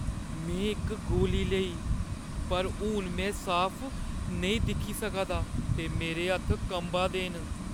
में इक गोली लेई, पर हून में साफ नेईं दिक्खी सका दा ते मेरे हत्थ कंबा दे न।